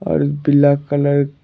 और black colour --